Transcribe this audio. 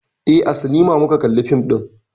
Eh, a sinima muka kalla fim ɗin.